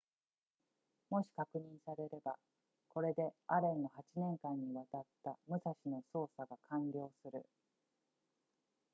もし確認されればこれでアレンの8年間にわたった武蔵の捜索が完了する